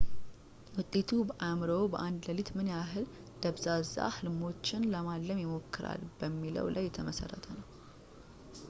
ውጤቱ በአእምሮዎ በአንድ ሌሊት ምን ያክል ደብዛዛ ህልሞችን ለማለም ይሞክራል በሚለው ላይ የተመሠረተ ነው